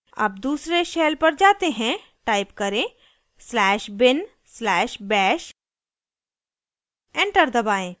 अब दूसरे shell पर जाते हैं type करें slash bin slash bash enter दबाएं